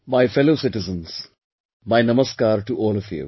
My fellow citizens, my namaskar to all of you